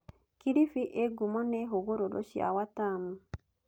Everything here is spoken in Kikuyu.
Kilifi ĩĩ ngumo nĩ hũgũrũrũ cia Watamu.